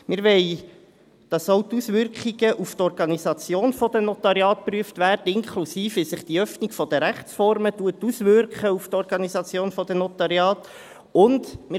Wir wollen, dass auch die Auswirkungen auf die Organisation der Notariate geprüft werden, inklusive der Frage, wie sich die Öffnung der Rechtsformen auf die Organisation der Notariate auswirkt.